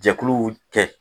Jɛkuluw tɛ